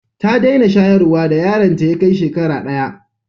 Ta dena shayarwa da yaron ta ya Kai shekara daya